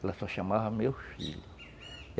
Ela só chamava meu filho.